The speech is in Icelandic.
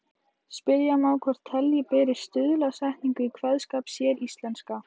Spyrja má hvort telja beri stuðlasetningu í kveðskap séríslenska.